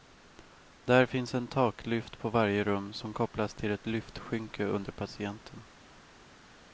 Där finns en taklyft på varje rum som kopplas till ett lyftskynke under patienten.